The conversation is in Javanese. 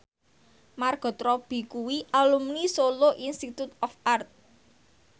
Margot Robbie kuwi alumni Solo Institute of Art